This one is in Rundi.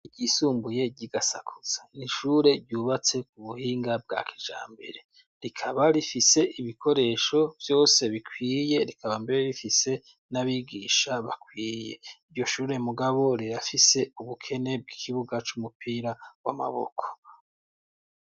Ryisumbuye ry'i Gasakuza. Ni ishure ryubatse ku buhinga bwa kijambere. Rikaba rifise ibikoresho vyose bikwiye, rikaba mbere rifise n'abigisha bakwiye. Iryoshure mugabo rirafise ubukene bw'ikibuga c'umupira w'amaboko.